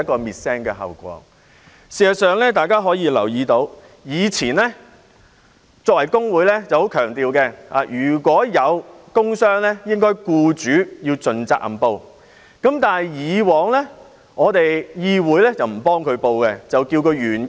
事實上，大家均留意到，工會向來強調如果有工傷個案，僱主應該盡責任申報，但議會以往不會為員工申報，需要他自行申報。